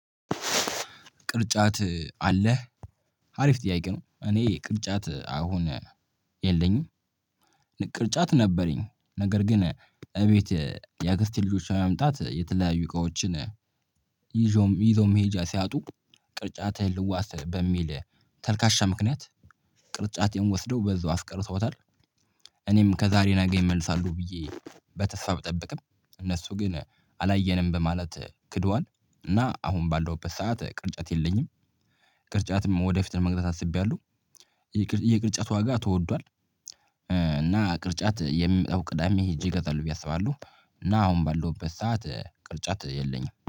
ቅርጫት አለህ። አሪፍ ጥያቄ ነው እኔ ቅርጫት አሁን የለኝም። ቅርጫት ነበረኝ ነገር ግን እቤት የአክስቴ ልጆችን ማምጣት የተለያዩ እቃዎችን። ይዞም ይዞም ሄጃ ሲያጡ ቅርጫትህን ልዋስ በሚል ተልካሻ ምክንያት ቅርጫቴን ወስደው በዛው አስቀርቶታል። እኔም ከዛሬ ነገ ይመልሳሉ ብዬ በተስፋ ብጠብቅም እነሱ ግን አላየንም በማለት ክዷል እና አሁን ባለውበት ሰዓት ቅርጫት የለኝም። ቅርጫትም ወደፊት መግዛት አስቤያለሁ። የቅርጫት ዋጋ ተወዷል እና ቅርጫት የሚመጣው ቅዳሜ ሄጄ ገጠል ቢያስብ አሉ። እና አሁን ባለውበት ሰዓት ቅርጫት የለኝም